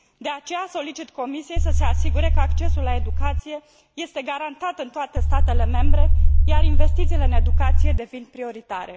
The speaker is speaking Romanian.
De aceea, solicit Comisiei să se asigure că accesul la educație este garantat în toate statele membre, iar investițiile în educație devin prioritare.